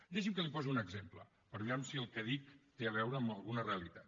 deixi’m que li posi un exemple per veure si el que dic té a veure amb alguna realitat